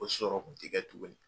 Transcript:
O sɔrɔ kun tɛ kɛ tuguni.